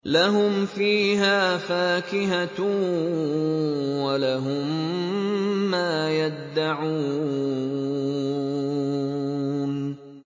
لَهُمْ فِيهَا فَاكِهَةٌ وَلَهُم مَّا يَدَّعُونَ